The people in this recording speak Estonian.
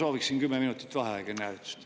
Jaa, ma soovin kümme minutit vaheaega enne hääletust.